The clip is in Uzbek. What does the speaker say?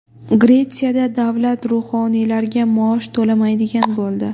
Gretsiyada davlat ruhoniylarga maosh to‘lamaydigan bo‘ldi.